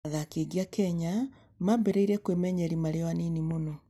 Athaki aingĩ a Kenya mambĩrĩria kwĩmenyeria marĩ o anini mũno.